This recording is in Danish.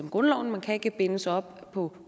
i grundloven man kan ikke bindes op på